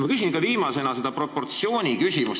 Ma küsin viimasena selle proportsiooni kohta.